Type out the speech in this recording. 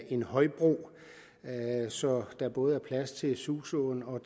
en højbro så der både er plads til suså og